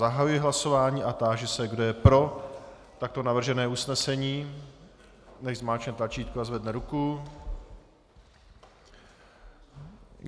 Zahajuji hlasování a táži se, kdo je pro takto navržené usnesení, ať zmáčkne tlačítko a zvedne ruku.